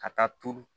Ka taa turu